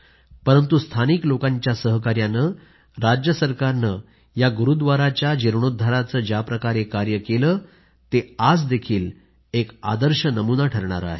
परंतु स्थानिक लोकांच्या सहकार्याने राज्य सरकारने या गुरूव्दाराच्या जीर्णेाद्धाराचे ज्याप्रकारे कार्य केले आहे ते आजही एक आदर्श ठरणारे आहे